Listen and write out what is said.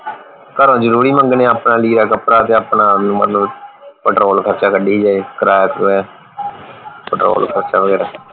ਘਰੋਂ ਜਰੂਰੀ ਮੰਗਣੇ ਆਪਣਾ ਲੀੜਾ ਕਪੜਾ ਤੇ ਆਪਣਾ ਵੀ ਮਤਲਬ ਪੈਟਰੋਲ ਖਰਚਾ ਕੱਢੀ ਗਏ ਕਿਰਾਇਆ ਕਰੂਆ ਪੈਟਰੋਲ ਖਰਚਾ ਵਗੈਰਾ